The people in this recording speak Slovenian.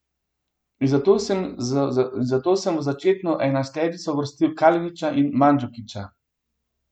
In zato sem v začetno enajsterico uvrstil Kalinića in Mandžukića.